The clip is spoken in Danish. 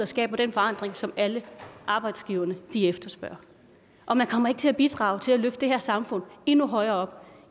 skaber den forandring som alle arbejdsgiverne efterspørger og man kommer ikke til at bidrage til at løfte det her samfund endnu højere op